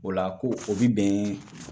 O la ko o bi bɛn